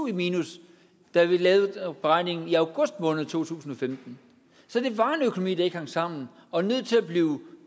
i minus da vi lavede beregningen i august måned to tusind og femten så det var en økonomi der ikke hang sammen og var nødt til at blive